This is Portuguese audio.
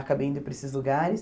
Acabei indo para esses lugares.